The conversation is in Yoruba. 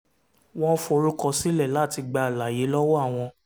wọ́n forúkọ sílẹ̀ láti gba àlàyé lọ́wọ́ àwọn